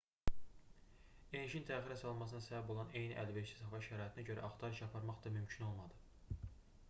enişin təxirə salınmasına səbəb olan eyni əlverişsiz hava şəraitinə görə axtarış aparmaq da mümkün olmadı